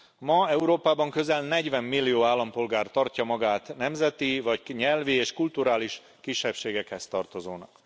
Ma Európában közel 40 millió állampolgár tartja magát nemzeti vagy nyelvi és kulturális kisebbségekhez tartozónak.